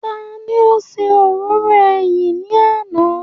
Taani ó ṣe òróró ẹyìn ní àná?